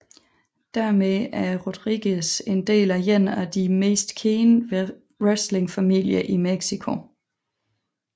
Dermed er Rodríguez en del af én af de mest kendte wrestlingfamilier i Mexico